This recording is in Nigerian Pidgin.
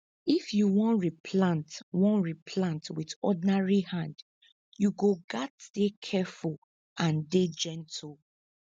if you wan replant wan replant with ordinary hand you go gats dey careful and dey gentle